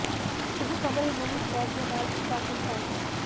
ਇਹ ਕਮਰੇ ਨੂੰ ਵੀ ਫਲੈਟ ਦੇ ਨਾਲ ਇੱਕ ਬਾਥਰੂਮ ਹੈ